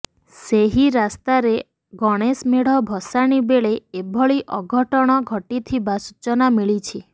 ସେହି ରାସ୍ତାରେ ଗଣେଶ ମେଢ ଭସାଣି ବେଳେ ଏଭଳି ଅଘଟଣ ଘଟିଥିବା ସୂଚନା ମିଳିଛି